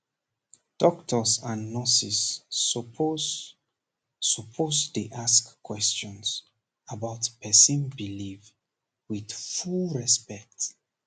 doctors and nurses suppose suppose dey ask questions about person belief with full respect